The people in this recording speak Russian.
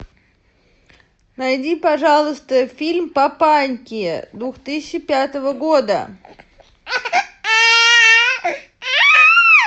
найди пожалуйста фильм папаньки две тысячи пятого года